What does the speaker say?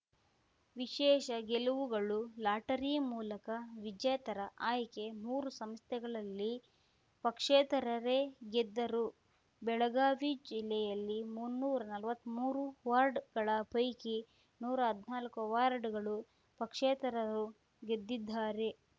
ವಿಶೇಷ ಗೆಲುವುಗಳು ಲಾಟರಿ ಮೂಲಕ ವಿಜೇತರ ಆಯ್ಕೆ ಮೂರು ಸಂಸ್ಥೆಗಳಲ್ಲಿ ಪಕ್ಷೇತರರೇ ಗೆದ್ದರು ಬೆಳಗಾವಿ ಜಿಲ್ಲೆಯಲ್ಲಿ ಮುನ್ನೂರಾ ನಲ್ವತ್ಮೂರು ವಾರ್ಡ್‌ಗಳ ಪೈಕಿ ನೂರ ಹದ್ನಾಕ್ ವಾರ್ಡ್‌ಗಳಲ್ಲಿ ಪಕ್ಷೇತರರು ಗೆದ್ದಿದ್ದಾರೆ